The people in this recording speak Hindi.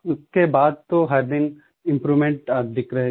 उसके बाद तो हर दिन इम्प्रूवमेंट दिख रहे थे